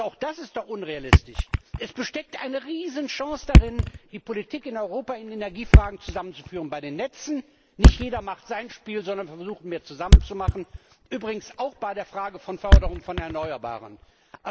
Also auch das ist doch unrealistisch! Es steckt eine Riesenchance darin, die Politik in Europa in Energiefragen bei den Netzen zusammenzuführen. Nicht jeder macht sein Spiel, sondern man versucht, mehr zusammen zu machen, übrigens auch bei der Frage der Förderung von erneuerbaren Energien.